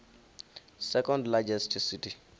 second largest city